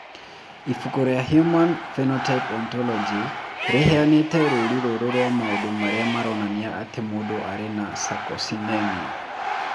Ibuku rĩa Human Phenotype Ontology rĩheanĩte rũũri rũrũ rwa maũndũ marĩa maronania atĩ mũndũ arĩ na Sarcosinemia.